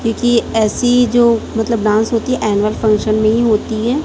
क्योंकि ऐसी जो मतलब डांस होती है एनुअल फंक्शन में ही होती है।